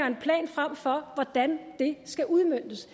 en plan frem for hvordan det skal udmøntes